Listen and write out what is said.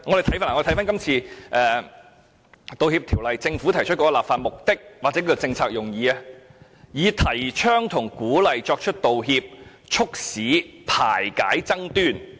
政府這次提出《條例草案》的立法目的或政策用意，是"提倡和鼓勵作出道歉，以促進和睦排解爭端"。